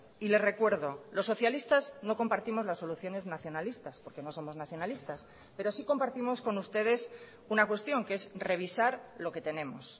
y le recuerdo los socialistas no compartimos las soluciones nacionalistas porque no somos nacionalistas pero sí compartimos con ustedes una cuestión que es revisar lo que tenemos